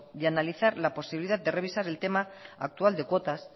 de analizar la posibilidad de revisar el tema actual de cuotas